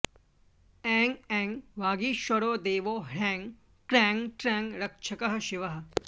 ऐं ऐं वागीश्वरो देवो ह्रैं क्रैं त्रैं रक्षकः शिवः